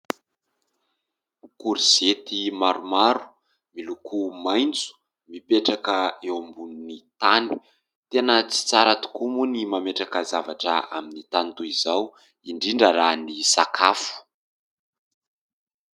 Korizety maromaro miloko maitso mipetraka eo ambonin'ny tany. Tena tsy tsara tokoa moa ny mametraka zavatra amin'ny tany toy izao, indrindra raha ny sakafo.